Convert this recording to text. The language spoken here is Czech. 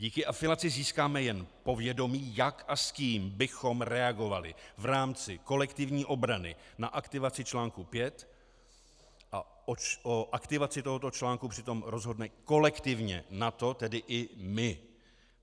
Díky afilaci získáme jen povědomí, jak a s kým bychom reagovali v rámci kolektivní obrany na aktivaci článku 5 a o aktivaci tohoto článku přitom rozhodne kolektivně NATO, tedy i my.